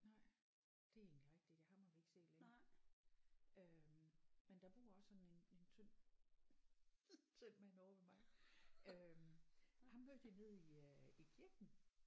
Nej det er egentlig rigtigt ja ham har vi ikke set længe øh men der bor også sådan en tynd tynd mand ovre ved mig øh ham mødte jeg nede i øh i kirken